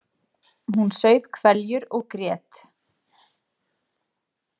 Hún saup hveljur og grét.